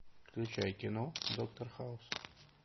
включай кино доктор хаус